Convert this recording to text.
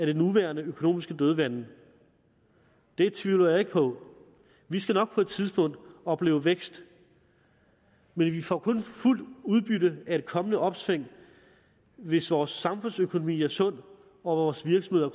det nuværende økonomiske dødvande det tvivler jeg ikke på vi skal nok på et tidspunkt opleve vækst men vi får kun fuldt udbytte af et kommende opsving hvis vores samfundsøkonomi er sund og vores virksomheder